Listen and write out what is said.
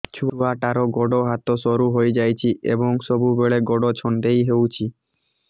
ଛୁଆଟାର ଗୋଡ଼ ହାତ ସରୁ ହୋଇଯାଇଛି ଏବଂ ସବୁବେଳେ ଗୋଡ଼ ଛଂଦେଇ ହେଉଛି